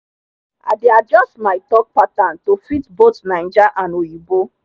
i dey adjust my talk pattern to fit both naija and oyinbo